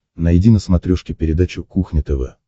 найди на смотрешке передачу кухня тв